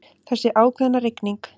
Þessi ákveðna rigning.